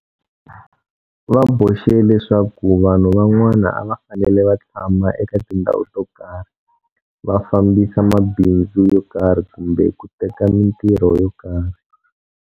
Va boxe leswaku vanhu van'wana a va fanele va tshama eka tindhawu to karhi, va fambisa mabindzu yo karhi kumbe ku teka mitirho yo karhi.